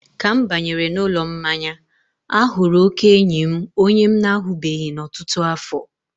ka m banyere n'ụlọ mmanya, a hụrụ oke enyi m onye m na-ahụbeghị n'ọtụtụ afọ.